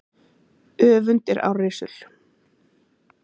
Öfund er árrisul.